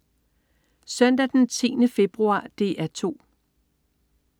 Søndag den 10. februar - DR 2: